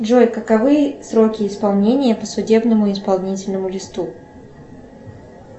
джой каковы сроки исполнения по судебному исполнительному листу